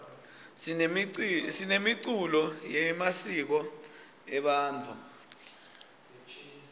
sinemiculo yemisiko ebantfu